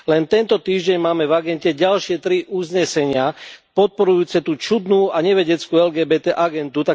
Len tento týždeň máme v agende ďalšie tri uznesenia podporujúce tú čudnú a nevedeckú LGBT agendu.